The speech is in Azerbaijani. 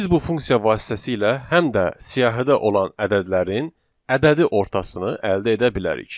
Biz bu funksiya vasitəsilə həm də siyahıda olan ədədlərin ədədi ortasını əldə edə bilərik.